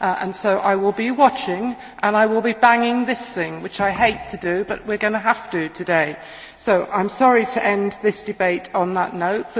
So I will be watching, and I will be banging this thing which I hate to do, but we are going to have to do so today. I am sorry to end this debate on that note.